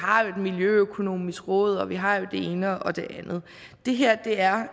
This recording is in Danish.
har et miljøøkonomisk råd og at vi har det ene og det andet det her er